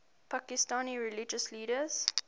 pakistani religious leaders